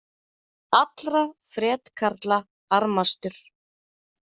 Allra fretkarla armastur.